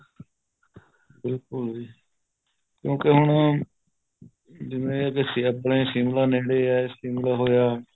ਬਿਲਕੁਲ ਜ਼ੀ ਕਿਉਕੀ ਹੁਣ ਜਿਵੇਂ ਆਪਣੇਂ ਸ਼ਿਮਲਾ ਨੇੜੇ ਏ ਸ਼ਿਮਲਾ ਹੋਇਆ